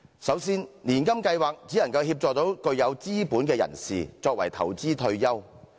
首先，年金計劃只能協助具有資本的人士，作為投資退休。